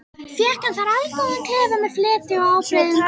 Fékk hann þar allgóðan klefa með fleti og ábreiðum.